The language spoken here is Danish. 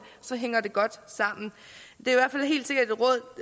så hænger det godt sammen det